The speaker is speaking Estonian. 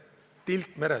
Tilk meres!